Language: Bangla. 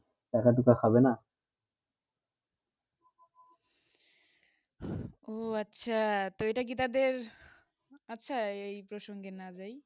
ওহ আচ্ছা তো এইটা কি তাদের আচ্ছা এই প্রসঙ্গে না জাই